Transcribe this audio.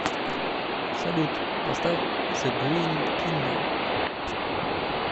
салют поставь зе грин кингдом